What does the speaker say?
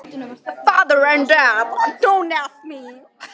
Pabbi og mamma spyrja ekki frekar.